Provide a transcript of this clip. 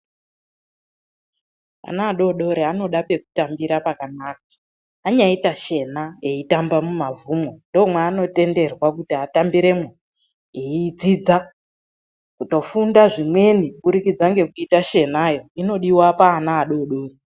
Ana adodori anoda pekutambira pakanaka. Anyaita shena eitamba mumavhumwo ndomwanotenderwa kuti atambiremwo eidzidza kutofunda zvimweni kubudikidza ngekuita shenayo inodiwa paana adodori.